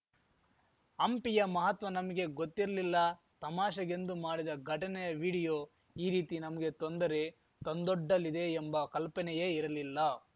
ಹಂಪಿಯ ಮಹತ್ವ ನಮಗೆ ಗೊತ್ತಿರಲಿಲ್ಲ ತಮಾಷೆಗೆಂದು ಮಾಡಿದ ಘಟನೆಯ ವಿಡಿಯೋ ಈ ರೀತಿ ನಮಗೆ ತೊಂದರೆ ತಂದೊಡ್ಡಲಿದೆ ಎಂಬ ಕಲ್ಪನೆಯೇ ಇರಲಿಲ್ಲ